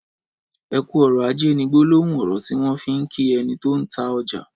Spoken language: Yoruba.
''Ẹkù ọrọ àjé'' ni gbòlòhùn ọrọ tiwọn fi n kí ẹni ti ó n tà ọjà